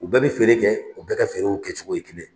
U bɛɛ bɛ feere kɛ o bɛɛ ka feerew kɛcogo ye kelen